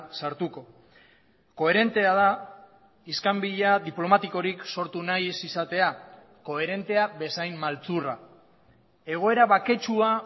sartuko koherentea da iskanbila diplomatikorik sortu nahi ez izatea koherentea bezain maltzurra egoera baketsua